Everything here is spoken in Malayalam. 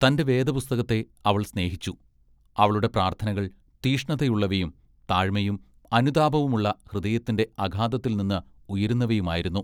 തന്റെ വേദപുസ്തകത്തെ അവൾ സ്നേഹിച്ചു. അവളുടെ പ്രാർത്ഥനകൾ തീഷ്ണതയുള്ളവയും താഴ്മയും അനുതാപവുമുള്ള ഹൃദയത്തിന്റെ അഗാധത്തിൽനിന്ന് ഉയരുന്നവയുമായിരുന്നു.